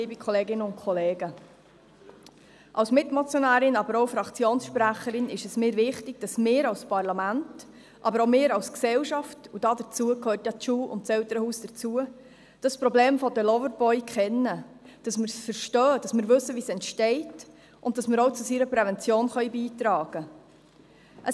Als Mitmotionärin, aber auch als Fraktionssprecherin ist es mir wichtig, dass wir als Parlament, aber auch als Gesellschaft – und dazu gehören die Schule und das Elternhaus – das Problem der Loverboys kennen, dass wir es verstehen und wissen, wie es entsteht, und dass wir zu dessen Prävention beitragen können.